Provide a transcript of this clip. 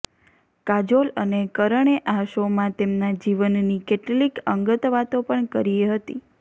કાજોલ અને કરણે આ શોમાં તેમના જીવનની કેટલીક અંગત વાતો પણ કરી હતી